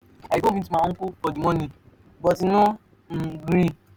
i go meet my uncle for the money but e no um gree.